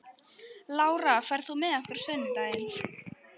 Lára, ferð þú með okkur á sunnudaginn?